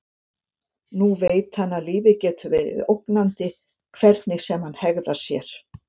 Nú veit hann að lífið getur verið ógnandi hvernig sem hann hegðar sér.